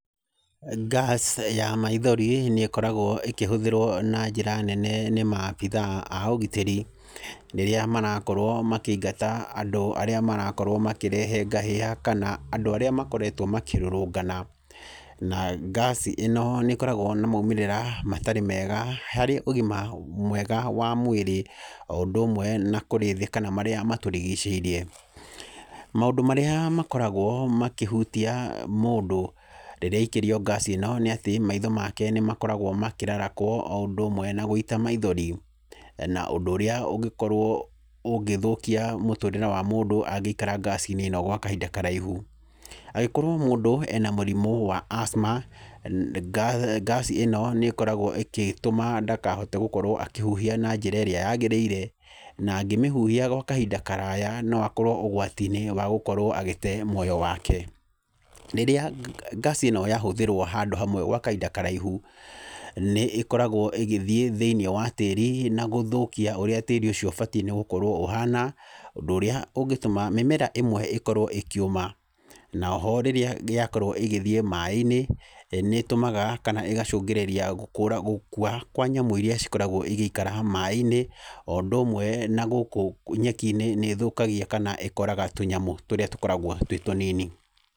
Gas ya maithori nĩ ĩkoragwo ĩkĩhũthĩrwo na njĩra nene nĩ maabitha a ũgitĩri rĩrĩa marakorwo makĩingata andũ arĩa marakorwo makĩrehe ngahĩha kana andũ arĩa makoretwo makĩrũrũngana na gas ĩno nĩ ĩkoragwo ĩna maumĩrĩra matarĩ mega harĩ ũgima mwega wa mwĩrĩ o ũndũ ũmwe na kũrĩ thĩ kana marĩa matũrigicĩirie. Maũndũ marĩa makoragwo makĩhutia mũndũ rĩrĩa aikĩrio gas ino nĩ atĩ, maitho make nĩ makoragwo makĩrarakwo o ũndũ ũmwe na gũĩta maithori, na ũndũ ũrĩa ũngĩkorwo ũgĩthũkia mũtũrĩre wa mũndũ angĩikara gas -inĩ ĩno gwa kahinda karaihu. Angĩkorwo mũndũ ena mũrimũ wa asthma, ngaci ĩno nĩ tũmaga ndagakorwo akĩhuhia na njĩra ĩrĩa yagĩrĩire, na angĩmĩhuhia gwa kahinda karaya no akorwo ũgwati-inĩ wa gũkorwo agĩte muoyo wake. Rĩrĩa gas ĩno yahũthĩrwo handũ hamwe gwa kahinda karaihu, nĩ ĩkoragwo ĩgĩthiĩ thĩinĩ wa tĩri na gũthũkia ũrĩa tĩri ũcio ũbatiĩ nĩ gũkorwo ũhana, ũndũ urĩa ũngĩtuma mĩmera ĩmwe ĩkorwo ĩkĩũma, na oho rĩrĩa yakorwo ĩgĩthiĩ maaĩ-inĩ nĩ ĩtumaga kana ĩgacungĩrĩria gũkũr gũkua kwa nyamũ iria ikoragwo igĩikara maaĩ-inĩ, o ũndũ ũmwe na gũkũ nyeki-inĩ nĩ ithũkagia kana ĩkoraga tũnyamũ tũrĩa tũkoragwo twĩ tũnini.